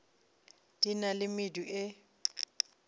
di na le medu e